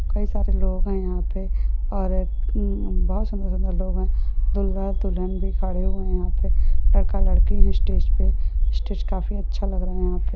कई सारे लोग हैं यहां पर और एक बहुत सुंदर सुंदर लोग हैं दूल्हा दुल्हन भी खड़े हुए यहां पर लड़का लड़की है स्टेज पर स्टेज काफी अच्छा लग रहा है। यहाँ पे--